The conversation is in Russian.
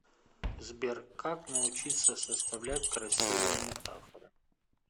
сбер как научиться составлять красивые метафоры